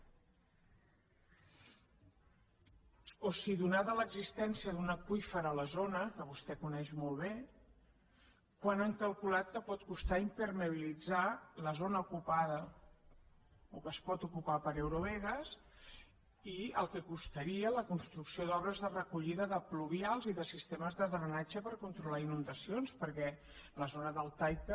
o si donada l’existència d’un aqüífer a la zona que vostè coneix molt bé quant han calculat que pot costar impermeabilitzar la zona ocupada o que es pot ocupar per eurovegas i el que costaria la construcció d’obres de recollida de pluvials i de sistemes de drenatge per controlar inundacions perquè la zona deltaica